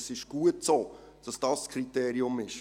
– Es ist gut, dass dies das Kriterium ist.